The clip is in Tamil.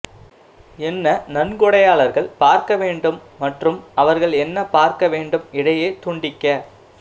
என்ன நன்கொடையாளர்கள் பார்க்க வேண்டும் மற்றும் அவர்கள் என்ன பார்க்க வேண்டும் இடையே துண்டிக்க